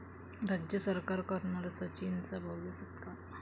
राज्य सरकार करणार सचिनचा भव्य सत्कार